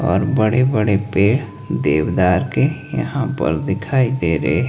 और बड़े बड़े पेड़ देवदार के यहां पे दिखाई दे रहे है।